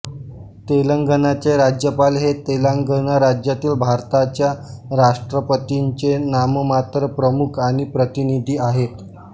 तेलंगणाचे राज्यपाल हे तेलंगणा राज्यातील भारताच्या राष्ट्रपतींचे नाममात्र प्रमुख आणि प्रतिनिधी आहेत